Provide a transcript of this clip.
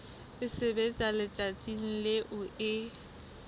e sebetswa letsatsing leo e